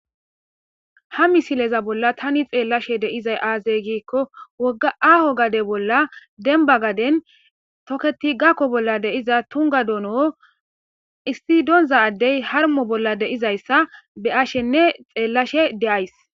Ha misileza bolla tani xeellashe deizay aazey giikko wogga aho gade bolla denba gaden toketi gakko bolla deiza tunga dono issidonza addey harmo bolla deizayssa be ashenne xeellashe deays.